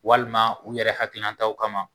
Walima u yɛrɛ hakilinataw kama